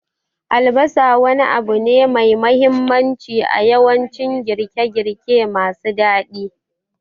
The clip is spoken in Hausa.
Albasa wani abu ne mai mahimmanci a yawancin girke-girke masu daɗi.